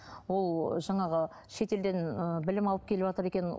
ол жаңағы шетелден ы білім алып келіватыр екен